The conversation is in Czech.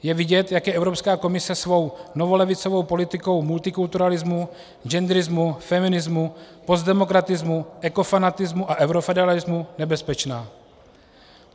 Je vidět, jak je Evropská komise svou novolevicovou politikou multikulturalismu, genderismu, feminismu, postdemokratismu, ekofanatismu a eurofederalismu nebezpečná.